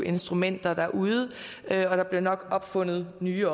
instrumenter derude og der bliver nok opfundet nye